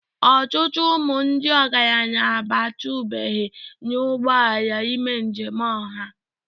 Ọtụtụ ụmụ ndị ọgaranya abatụbeghị n'ụgbọ ala ime njem ọha.